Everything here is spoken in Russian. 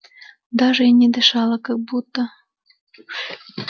даже и не дышала как будто